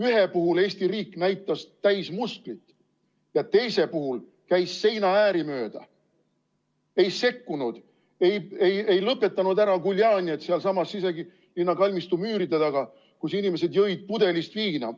Ühe puhul Eesti riik näitas täismusklit ja teise puhul käis seinaääri mööda, ei sekkunud, ei lõpetanud ära guljanjet sealsamas Siselinna kalmistu müüride taga, kus inimesed jõid pudelist viina.